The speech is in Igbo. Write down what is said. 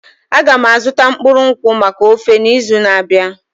Aga m azụta mkpụrụ nkwụ maka ofe n'izu na-abịa.